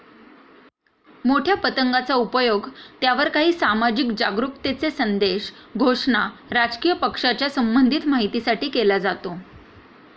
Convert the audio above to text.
मोठ्या पतंगाचा उपयोग त्यावर काही सामाजिक जागरुकतेचे संदेश, घोषणा, राजकीय पक्षाच्या संबंधित माहितीसाठी केला जातो.